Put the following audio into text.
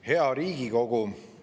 Hea Riigikogu!